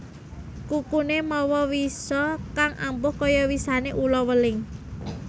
Kukuné mawa wisa kang ampuh kaya wisané ula weling